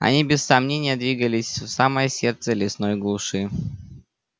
они без сомнения двигались в самое сердце лесной глуши